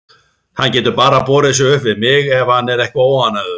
Hann getur bara borið sig upp við mig ef hann er eitthvað óánægður.